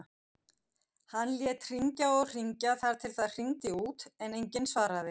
Hann lét hringja og hringja þar til það hringdi út en enginn svaraði.